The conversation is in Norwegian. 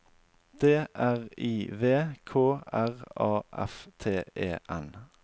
D R I V K R A F T E N